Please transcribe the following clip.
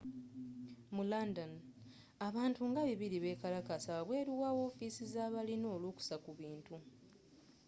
mu london abantu nga 200 bekalakasiza wabweru wa wofiisi zabalina olukusa ku bintu